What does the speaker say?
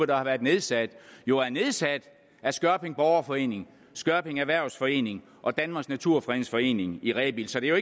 der har været nedsat jo er nedsat af skørping borgerforening skørping erhvervsforening og danmarks naturfredningsforening i rebild så det er